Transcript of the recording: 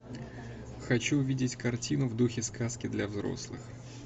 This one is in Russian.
хочу увидеть картину в духе сказки для взрослых